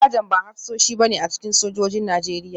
Sajan ba hafsoshi ba ne a cikin sojojin Najeriya